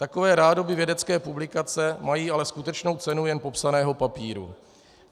Takové rádoby vědecké publikace mají ale skutečnou cenu jen popsaného papíru.